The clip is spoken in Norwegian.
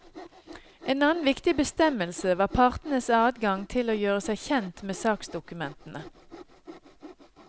En annen viktig bestemmelse var partenes adgang til å gjøre seg kjent med saksdokumentene.